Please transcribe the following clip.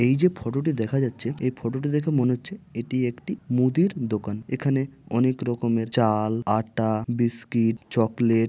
এই যে ফটোটি দেখা যাচ্ছে এই ফটোটি দেখে মনে হচ্ছে এটি একটি মুদির দোকান। এখানে অনেক রকমের চাল আটটা বিস্কিট চকলেট --